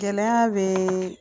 Gɛlɛya be